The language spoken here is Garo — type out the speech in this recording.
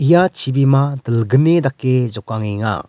ia chibima dilgnini dake jokangenga.